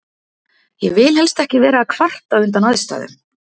Ég vil helst ekki vera að kvarta undan aðstæðum.